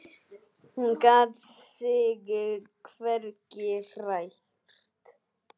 Hún gat sig hvergi hrært.